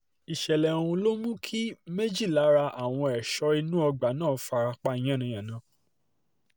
ìṣẹ̀lẹ̀ ọ̀hún ló mú kí méjì lára àwọn ẹ̀ṣọ́ inú ọgbà náà fara pa yànnà-yànnà